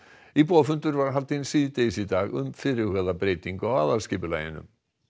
íbúafundur var haldinn síðdegis í dag um fyrirhugaða breytingu á aðalskipulaginu